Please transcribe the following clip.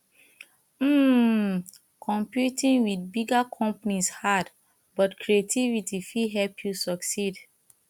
um competing with bigger companies hard but creativity fit help you succeed